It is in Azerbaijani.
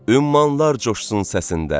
Ümmanlar coşsun səsində.